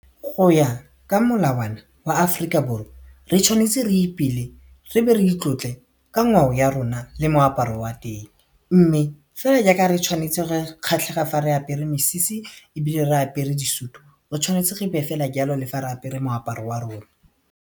Go ya ka molawana wa Aforika Borwa re tshwanetse re ipele, re be re itlotle ka ngwao ya rona le moaparo wa teng mme fela jaaka re tshwanetse re kgatlhega fa re apere mesese ebile re apere disutu re tshwanetse re fela ke jalo le fa re apere moaparo wa rona.